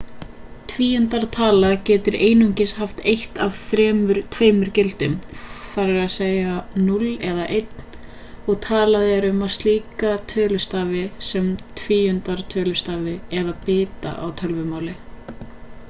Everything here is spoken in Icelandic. tvíundartala getur einungis haft eitt af tveimur gildum þ.e.a.s. 0 eða 1 og talað er um slíka tölustafi sem tvíundartölustafi eða bita á tölvumáli